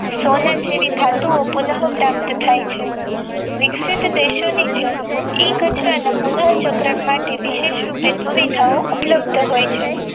સહલગ જેવી થતું હતું પુનઃ પ્રાપ્ત થાય છે વિકિસિત દેશોની જેમ એ કચરાના પુનઃ ચક્ર માટે વિશેષ પુરી થાઓ ઉપલબ્ધ હોય છે.